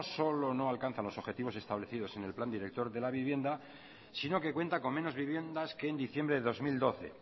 solo no alcanza los objetivos establecidos en el plan director de la vivienda sino que cuenta con menos viviendas que en diciembre de dos mil doce